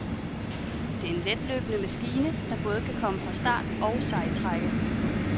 Det er en letløbende maskine, der både kan komme fra start og sejtrække.